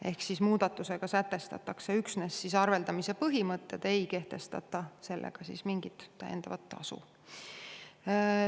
Ehk muudatusega sätestatakse üksnes arveldamise põhimõtted, aga ei kehtestata mingit täiendavat tasu.